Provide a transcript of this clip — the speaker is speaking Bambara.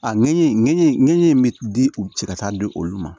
A ŋɛɲɛ ŋɛɲɛ ŋɛɲɛ in be di u cɛ ka taa di olu ma